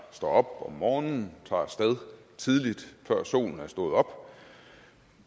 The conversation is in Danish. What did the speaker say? står op om morgenen tager af sted tidligt før solen er stået op